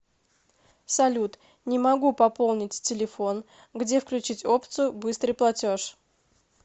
салют не могу пополнить телефон где включить опцию быстрый платеж